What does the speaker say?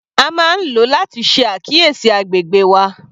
A máa ń lo láti ṣe àkíyèsí agbègbè wa.